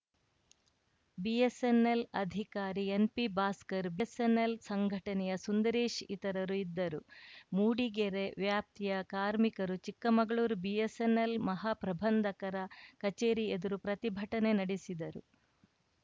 BSNL ಅಧಿಕಾರಿ ಎನ್‌ಪಿಭಾಸ್ಕರ್‌ BSNL ಸಂಘಟನೆಯ ಸುಂದರೇಶ್‌ ಇತರರು ಇದ್ದರು ಮೂಡಿಗೆರೆ ವ್ಯಾಪ್ತಿಯ ಕಾರ್ಮಿಕರು ಚಿಕ್ಕಮಗಳೂರು ಬಿಎಸ್‌ಎನ್‌ಎಲ್‌ ಮಹಾಪ್ರಬಂಧಕರ ಕಚೇರಿ ಎದುರು ಪ್ರತಿಭಟನೆ ನಡೆಸಿದರು